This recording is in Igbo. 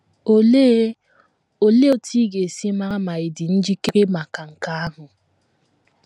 Olee Olee otú ị ga - esi mara ma ị dị njikere maka nke ahụ?